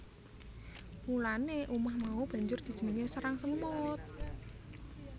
Mulane umah mau banjur dijenengi sarang semut